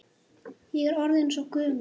Ég er orðin svo gömul.